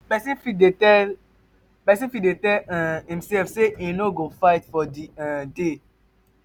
um persin fit tell persin fit tell um imself say im no go fight for di um day